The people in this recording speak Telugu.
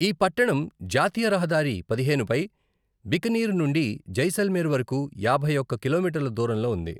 ఈ పట్టణం జాతీయ రహదారి పదిహేనుపై బికనీర్ నుండి జైసల్మేర్ వరకు యాభై ఒక్క కిలోమీటర్ల దూరంలో ఉంది.